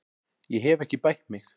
Ég hef ekki bætt mig.